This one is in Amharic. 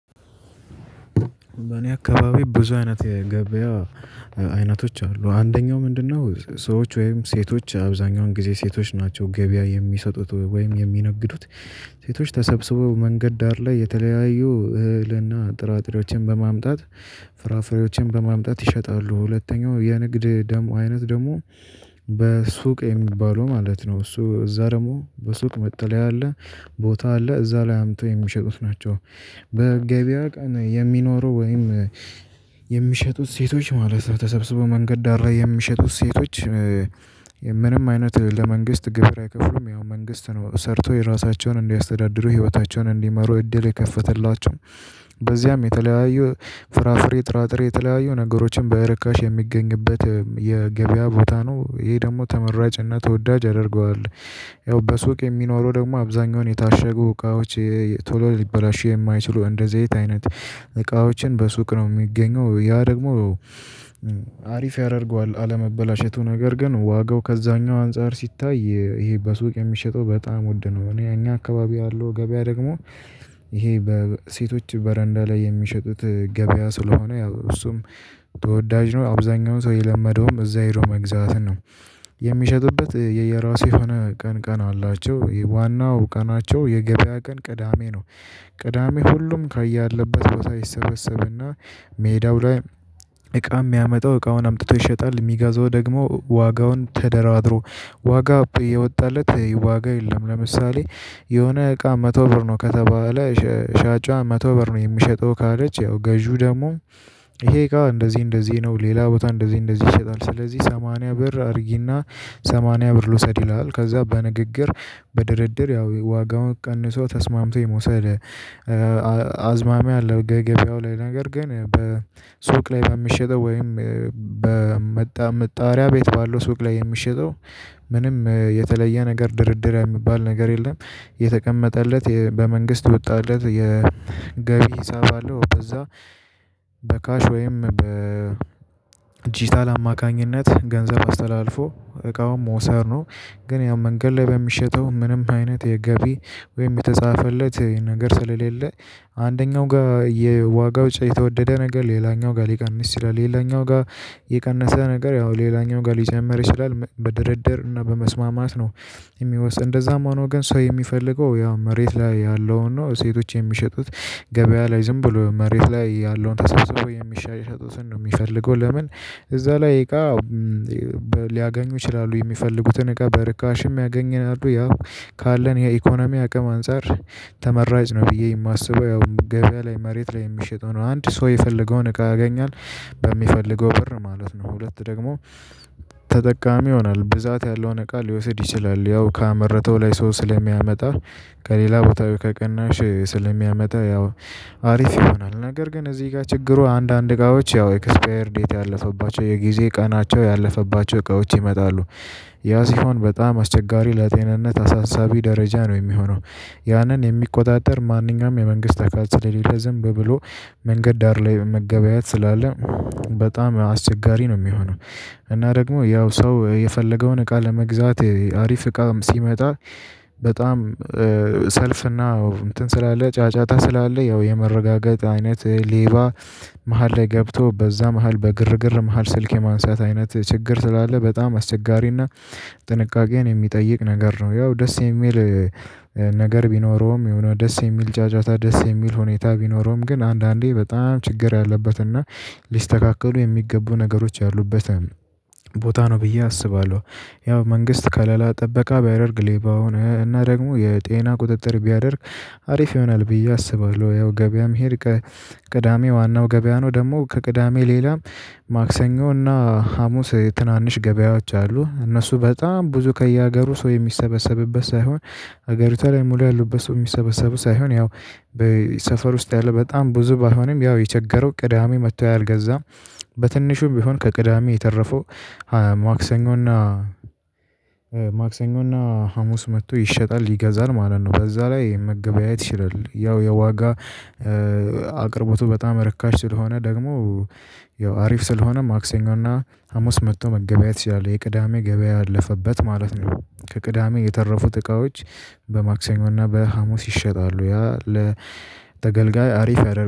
በእኔ አካባቢ ብዙ አይነት የገበያ አይነቶች አሉ። አንደኛው ምንድነው ሰዎች ወይም ሴቶች አብዛኛውን ጊዜ ሴቶች ናቸው ገበያ የሚሰጡት ወይም የሚነግዱት። ሴቶች ተሰብስበው መንገድ ዳር ላይ የተለያዩ እህልና ጥራጥሬዎችን በማምጣት ፍራፍሬዎችን በማምጣት ይሸጣሉ። ሁለተኛው የንግድ ደሞ አይነት ደሞ በሱቅ የሚባለው ማለት ነው። እሱ እዛ ደግሞ በሱቅ መጠለያ አለ ቦታ አለ እዛ ላይ አምጥተው የሚሸጡት ናቸው። በገበያ ቀን የሚኖረው ወይም የሚሸጡት ሴቶች ማለት ተሰብስበው መንገድ ዳር ላይ የሚሸጡት ሴቶች፤ ምንም አይነት ለመንግስት ግብር አይከፍሉም። ያው መንግስት ነው ሰርቶ የራሳቸውን እንዲያስተዳድሩ ህይወታቸውን እንዲመሩ እድል የከፈተላቸው። በዚያም የተለያዩ ፍራፍሬ ጥራጥሬ የተለያዩ ነገሮችን በርካሽ የሚገኝበት የገበያ ቦታ ነው። ይሄ ደግሞ ተመራጭና ተወዳጅ ያደርገዋል። ያው በሱቅ የሚኖረው ደግሞ አብዛኛውን የታሸጉ እቃዎች ቶሎ ሊበላሹ የማይችሉ እንደ ዘይት አይነት እቃዎችን በሱቅ ነው የሚገኘው። ያ ደግሞ አሪፍ ያደርገዋል አለመበላሸቱ። ነገር ግን ዋጋው ከዛኛው አንፃር ሲታይ ይሄ በሱቅ የሚሸጠው በጣም ውድ ነው። እኔ እኛ አካባቢ ያለው ገበያ ደግሞ ይሄ በሴቶች በረንዳ ላይ የሚሸጡት ገበያ ስለሆነ ያው እሱም ተወዳጅ ነው። አብዛኛውን ሰው የለመደውም እዛ ሄዶ መግዛትን ነው። የሚሸጡበት የየራሱ የሆነ ቀን ቀን አላቸው። የዋናው ቀናቸው የገበያ ቀን ቅዳሜ ነው። ቅዳሜ ሁሉም ከያለበት ቦታ ይሰበሰብና ሜዳው ላይ እቃ የሚያመጣው እቃውን አምጥቶ ይሸጣል። የሚገዛው ደግሞ ዋጋውን ተደራድሮ፤ ዋጋ የወጣለት ዋጋ የለም ለምሳሌ የሆነ እቃ መቶ ብር ነው ከተባለ ሻጯ መቶ ብር ነው የምሸጠው ካለች፤ ያው ገዢው ደግሞ ይሄ ጋር እንደዚህ እንደዚህ ነው ሌላ ቦታ እንደዚህ እንደዚህ ይሸጣል፤ ስለዚህ ሰማንያ ብር አድርጊና ሰማንያ ብር ልውሰድ ይላል። ከዛ በንግግር በድርድር ያው ዋጋውን ቀንሶ ተስማምቶ የመውሰድ አዝማሚያ አለው ገበያው ላይ። ነገር ግን በሱቅ ላይ በሚሸጠው ወይም በመጣ መጣሪያ ቤት ባለው ሱቅ ላይ የሚሸጠው ምንም የተለየ ነገር ድርድር የሚባል ነገር የለም። የተቀመጠለት በመንግስት የወጣለት የገቢ ሂሳብ አለው። በዛ በካሽ ወይም በዲጂታል አማካኝነት ገንዘብ አስተላልፎ እቃውን መውሰድ ነው። ግን ያው መንገድ ላይ በሚሸጠው ምንም አይነት የገቢ ወይም የተጻፈለት ነገር ስለሌለ አንደኛው ጋር የዋጋው የተወደደ ነገር ሌላኛው ጋር ሊቀንስ ይችላል። ሌላኛው ጋር የቀነሰ ነገር ያው ሌላኛው ጋር ሊጨምር ይችላል። በድርድር እና በመስማማት ነው የሚወስድ። እንደዛም ሆኖ ግን ሰው የሚፈልገው ያው መሬት ላይ ያለውን ነው። ሴቶች የሚሸጡት ገበያ ላይ ዝም ብሎ መሬት ላይ ያለውን ተሰብስበው የሚሸጡትን ነው የሚፈልገው። ለምን እዛ ላይ እቃ ሊያገኙ ይችላሉ። የሚፈልጉትን እቃ በርካሽም ያገኛሉ። ያው ካለን የኢኮኖሚ አቅም አንፃር ተመራጭ ነው ብዬ የማስበው ያው ገበያ ላይ መሬት ላይ የሚሸጠው ነው። አንድ ሰው የፈለገውን እቃ ያገኛል በሚፈልገው ብር ማለት ነው። ሁለት ደግሞ ተጠቃሚ ይሆናል። ብዛት ያለውን እቃ ሊወስድ ይችላል። ያው ካመረተው ላይ ሰው ስለሚያመጣ ከሌላ ቦታ ወይ ከቅናሽ ስለሚያመጣ ያው አሪፍ ይሆናል። ነገር ግን እዚህ ጋር ችግሩ አንዳንድ እቃዎች ያው ኤክስፓየር ዴት ያለፈባቸው የጊዜ ቀናቸው ያለፈባቸው እቃዎች ይመጣሉ። ያ ሲሆን በጣም አስቸጋሪ ለጤንነት አሳሳቢ ደረጃ ነው የሚሆነው። ያንን የሚቆጣጠር ማንኛውም የመንግስት አካል ስለሌለ ዝም ብሎ መንገድ ዳር ላይ መገበያት ስላለ፤ በጣም አስቸጋሪ ነው የሚሆነው። እና ደግሞ ያው ሰው የፈለገውን እቃ ለመግዛት አሪፍ እቃም ሲመጣ በጣም ሰልፍና እንትን ስላለ ጫጫታ ስላለ ያው የመረጋገጥ አይነት ሌባ መሃል ላይ ገብቶ በዛ መሃል በግርግር መሃል ስልክ የማንሳት አይነት ችግር ስላለ በጣም አስቸጋሪና ጥንቃቄን የሚጠይቅ ነገር ነው። ያው ደስ የሚል ነገር ቢኖረውም የሆነ ደስ የሚል ጫጫታ ደስ የሚል ሁኔታ ቢኖረውም፤ ግን አንዳንዴ በጣም ችግር ያለበትና ሊስተካከሉ የሚገቡ ነገሮች ያሉበት ቦታ ነው ብዬ አስባለሁ። ያው መንግስት ከለላ ጥበቃ ቢያደርግ ሌባውን እና ደግሞ የጤና ቁጥጥር ቢያደርግ አሪፍ ይሆናል ብዬ አስባለሁ። ያው ገበያ መሄድ ከቅዳሜ ዋናው ገበያ ነው ደግሞ ከቅዳሜ ሌላም ማክሰኞ እና ሀሙስ ትናንሽ ገበያዎች አሉ። እነሱ በጣም ብዙ ከየሀገሩ ሰው የሚሰበሰብበት ሳይሆን፤ ሀገሪቷ ላይ ሙሉ ያሉበት ሰው የሚሰበሰቡ ሳይሆን፤ ያው በሰፈር ውስጥ ያለ በጣም ብዙ ባይሆንም፤ ያው የቸገረው ቅዳሜ መጥቶ ያልገዛ በትንሹም ቢሆን ከቅዳሜ የተረፈው ማክሰኞና ማክሰኞና ሀሙስ መጥቶ ይሸጣል ይገዛል ማለት ነው። በዛ ላይ መገበያየት ይችላል። ያው የዋጋ አቅርቦቱ በጣም ርካሽ ስለሆነ ደግሞ ያው አሪፍ ስለሆነ ማክሰኞ እና ሀሙስ መጥቶ መገበያየት ይችላለህ የቅዳሜ ገበያ ያለፈበት ማለት ነው። ከቅዳሜ የተረፉት እቃዎች በማክሰኞ እና በሀሙስ ይሸጣሉ። ያ ለተገልጋይ አሪፍ ያደርጉታል